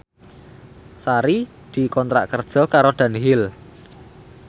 Sari dikontrak kerja karo Dunhill